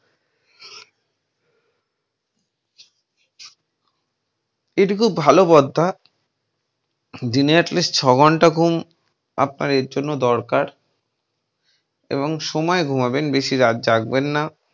এইটা খুব ভালো পন্থা, দিন atleast ছয় ঘন্টা ঘুম আপনার এর জন্য দরকার এবং সময়ে ঘুমাবেন বেশি রাত জাগবেন না।